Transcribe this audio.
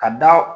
Ka da